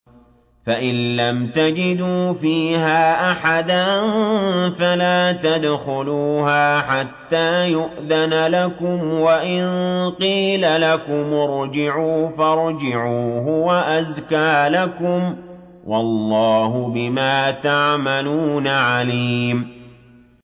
فَإِن لَّمْ تَجِدُوا فِيهَا أَحَدًا فَلَا تَدْخُلُوهَا حَتَّىٰ يُؤْذَنَ لَكُمْ ۖ وَإِن قِيلَ لَكُمُ ارْجِعُوا فَارْجِعُوا ۖ هُوَ أَزْكَىٰ لَكُمْ ۚ وَاللَّهُ بِمَا تَعْمَلُونَ عَلِيمٌ